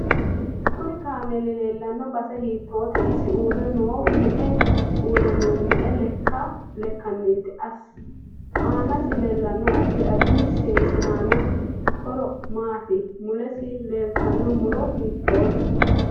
Kuni kaameeli leelanno base hiitoote isi uure noohu me'e lekkaniiti aanasi leelanno addi addi seesi aano horo maati mulesi leelatanno muro hiitoote